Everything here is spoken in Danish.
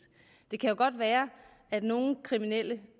det kan jo godt være at nogle kriminelle